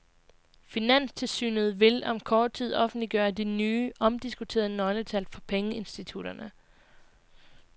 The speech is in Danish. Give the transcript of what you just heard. Finanstilsynet vil om kort tid offentliggøre de nye, omdiskuterede nøgletal for pengeinstitutterne.